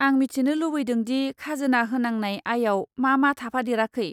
आं मिथिनो लुबैदों दि खाजोना होनांनाय आयाव मा मा थाफादेराखै।